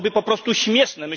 To byłoby po prostu śmieszne.